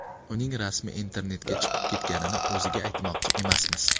Uning rasmi internetga chiqib ketganini o‘ziga aytmoqchi emasmiz.